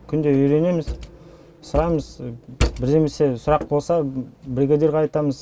күнде үйренеміз сұраймыз бірдемесе сұрақ болса бригадирге айтамыз